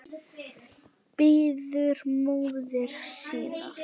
Bíður móður sinnar.